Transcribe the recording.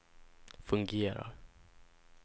fungerar